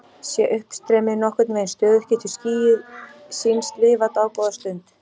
Sé uppstreymið nokkurn veginn stöðugt getur skýið sýnst lifa dágóða stund.